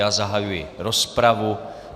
Já zahajuji rozpravu.